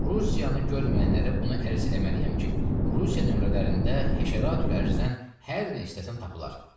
Rusiyanı görməyənlərə bunu ərz eləməliyəm ki, Rusiya nömrələrində həşəratül ərzdən hər nə istəsən tapılar.